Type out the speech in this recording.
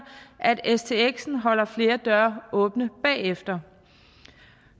at stx holder flere døre åbne bagefter